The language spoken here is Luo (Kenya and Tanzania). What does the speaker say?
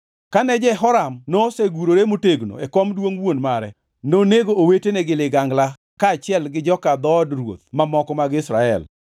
Kane Jehoram nosegurore motegno e kom duongʼ wuon mare, nonego owetene gi ligangla kaachiel gi joka dhood ruoth mamoko mag Israel.